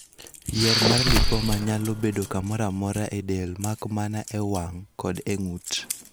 Yier mar lipoma nyalo bedo kamoro amora e del mak mana e wang' koda e ng'ut.